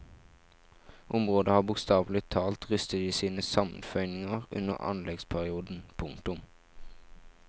Området har bokstavelig talt rystet i sine sammenføyninger under anleggsperioden. punktum